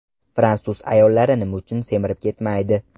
Fransuz ayollari nima uchun semirib ketmaydi?.